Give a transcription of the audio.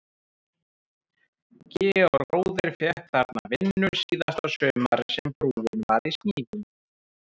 Georg bróðir fékk þarna vinnu síðasta sumarið sem brúin var í smíðum.